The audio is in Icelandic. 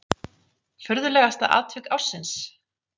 Furðulegasta atvik ársins?